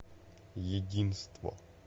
единство